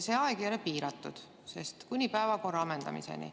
See aeg ei ole piiratud, see kestab kuni päevakorra ammendumiseni.